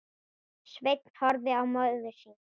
Sveinn horfði á móður sína.